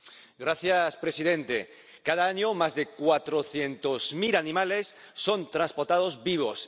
Señor presidente, cada año más de cuatrocientos mil animales son transportados vivos.